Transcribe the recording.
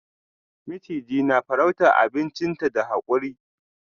Maciji na farrauta abinchinta da hakuri.